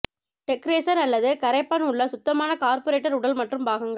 degreaser அல்லது கரைப்பான் உள்ள சுத்தமான கார்புரேட்டர் உடல் மற்றும் பாகங்கள்